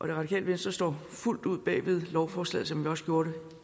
det radikale venstre står fuldt ud bag ved lovforslaget som vi også gjorde det